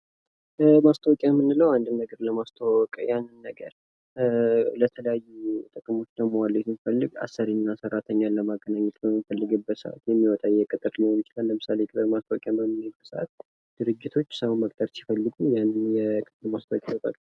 ማስታወቂያ ምንድን ነው አንድን ነገር ለማስተዋወቅ ያንን ነገር ለተለያዩ ጥቅሞች ላይ ለመዋል ብንፈልግ አሰሪና ሰራተኛን ለማገናኘት የምንጠይቅበት ሊሆን ይችላል ለምሳሌ ድርጅቶች ሰውን መቅጠር ሲፈልጉ ማስታወቂያዎችን ያወጣሉ።